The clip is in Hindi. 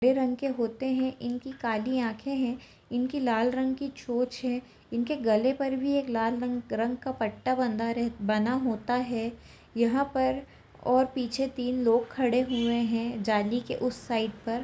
हरे रंग के होते है इनकी काली आंखें है इनकी लाल रंग की चोंच है इनके गले पर भी एक लाल रंग का पट्टा बंधा रह बंधा होता है यहां पर ओर पीछे तीन लोग खड़े हुए है जाली के उस साइड पर--